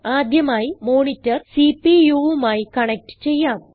ആദ്യമായി മോണിറ്റർ CPUവുമായി കണക്റ്റ് ചെയ്യാം